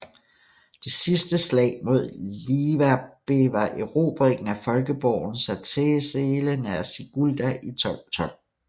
Det sidste slag mod liverbe var erobringen af folkeborgen Satezele nær Sigulda i 1212